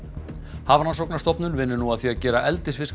Hafrannsóknastofnun vinnur nú að því að gera eldisfiska